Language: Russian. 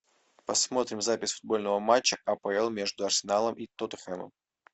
посмотрим запись футбольного матча апл между арсеналом и тоттенхэмом